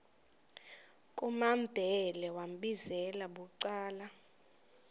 kumambhele wambizela bucala